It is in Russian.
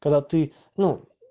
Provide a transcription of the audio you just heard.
когда ты ну